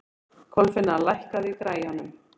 Kolfinna, lækkaðu í græjunum.